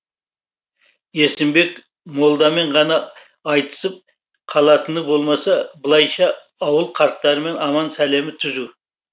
есімбек молдамен ғана айтысып қалатыны болмаса былайша ауыл қарттарымен аман сәлемі түзу